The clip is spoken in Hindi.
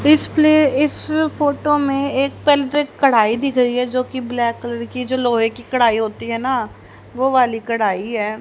इस प्ले इस फोटो में एक कढ़ाई दिख रही है जोकि ब्लैक कलर की जो लोहे की कढ़ाई होती है ना वो वाली कढ़ाई है।